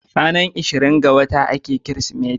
Ranar 25 ga wata ake kirismeti